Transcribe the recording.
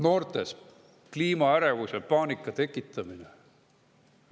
" Noortes kliimaärevuse ja ‑paanika tekitamine.